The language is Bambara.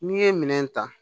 N'i ye minɛn ta